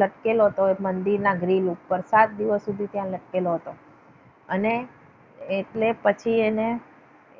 લટકેલો હતો મંદિરના ગ્રીલ ઉપર સાત દિવસ સુધી ત્યાં લટકેલો હતો. અને એટલે પછી એને